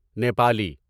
Nepali